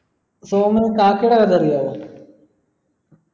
സോമന് കാക്കേടെ കഥ അറിയാവോ